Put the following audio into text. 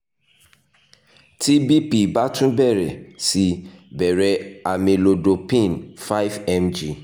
ti bp ba tun bẹrẹ si bẹrẹ amlodipine 5 mg